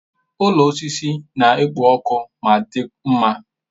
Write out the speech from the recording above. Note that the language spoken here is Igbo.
Ụlọ osisi na-ekpo ọkụ ma dị mma.